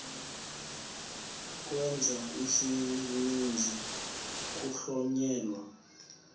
ukwenza isininzi kuhlonyelwa